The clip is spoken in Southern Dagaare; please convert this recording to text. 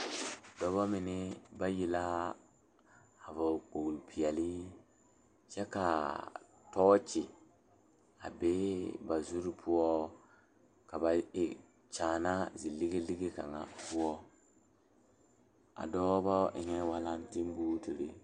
Dɔɔba mine bayi la a banuu a zɔŋ a a kuriwiire kaŋa eɛ ziɛ kyɛ taa peɛle kaa kuriwiire mine e sɔglɔ kyɛ ka konkobile fare a kuriwiire poɔ a e doɔre.